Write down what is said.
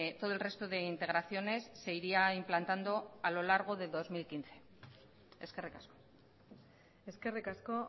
todo el resto de integraciones se iría implantando a lo largo de dos mil quince eskerrik asko eskerrik asko